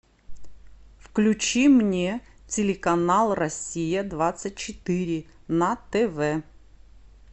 включи мне телеканал россия двадцать четыре на тв